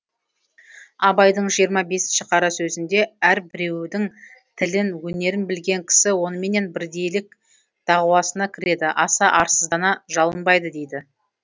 абайдың жиырма бесінші қара сөзінде әрбіреудің тілін өнерін білген кісі оныменен бірдейлік дауасына кіреді аса арсыздана жалынбайды дейді